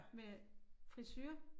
Med frisure